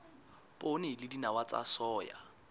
poone le dinawa tsa soya